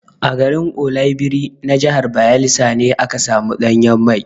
A garin Oloibiri na jahar Bayelsa ne aka samu ɗanyen mai.